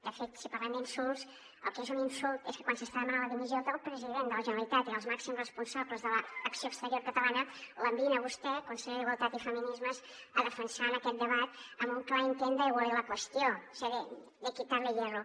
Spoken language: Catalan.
de fet si parlem d’insults el que és un insult és que quan s’està demanant la dimissió del president de la generalitat i dels màxims responsables de l’acció exterior catalana l’enviïn a vostè consellera d’igualtat i feminismes a defensar ho en aquest debat amb un clar intent d’aigualir la qüestió és a dir de quitarle hierro